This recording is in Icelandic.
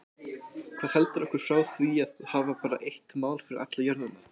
Hvað heldur okkur frá því að hafa bara eitt mál fyrir alla jörðina?